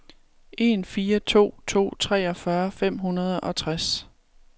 en fire to to treogfyrre fem hundrede og tres